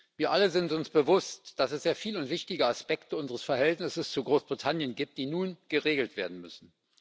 Wir alle sind uns bewusst, dass es sehr viele und wichtige Aspekte unseres Verhältnisses zu Großbritannien gibt, die nun geregelt werden müssen.